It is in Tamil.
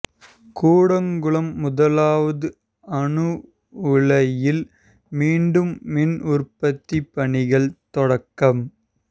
கூடங்குளம் முதலாவது அணு உலையில் மீண்டும் மின் உற்பத்தி பணிகள் தொடக்கம்